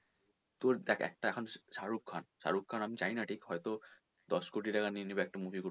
তোর দেখ একটা এখন শারুখ খান, শারুখ খান আমি ঠিক জানিনা এখন দশ কোটি টাকা নিয়ে নেবে একটা movie করতে